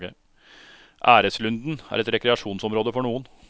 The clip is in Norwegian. Æreslunden er et rekreasjonsområde for noen.